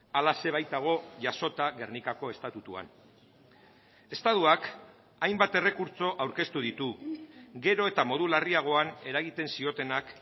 halaxe baitago jasota gernikako estatutuan estatuak hainbat errekurtso aurkeztu ditu gero eta modu larriagoan eragiten ziotenak